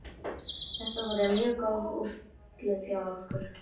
Þetta voru mjög góð úrslit hjá okkur.